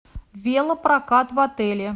велопрокат в отеле